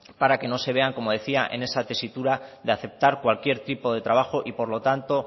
para que no se vean como decía en esa tesitura de aceptar cualquier tipo de trabajo y por lo tanto